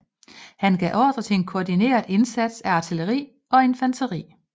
Han gav ordre til en koordineret indsats af artilleri og infanteri